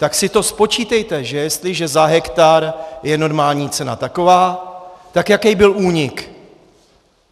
Tak si to spočítejte, že jestliže za hektar je normální cena taková, tak jaký byl únik.